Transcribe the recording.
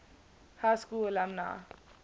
high school alumni